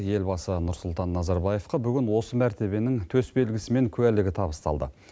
елбасы нұрсұлтан назарбаевқа бүгін осы мәртебенің төсбелгісі мен куәлігі табысталды